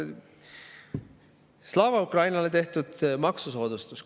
Slava Ukrainile tehtud maksusoodustus.